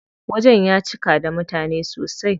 Wajen ya cika da mutane sosai.